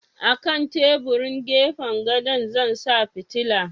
A kan teburin gefen gadon Zan sa fitila